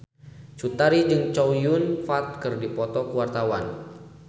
Cut Tari jeung Chow Yun Fat keur dipoto ku wartawan